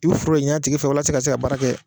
I bɛ foro de ɲini a tigi fɛ walasa i ka se ka baara kɛ.